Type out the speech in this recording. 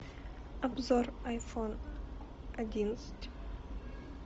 обзор айфон одиннадцать